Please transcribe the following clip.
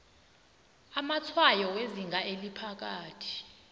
amatshwayo wezinga eliphakathi